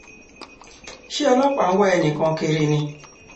ṣé ọlọ́pàá ń wá ẹnì kan kiri ni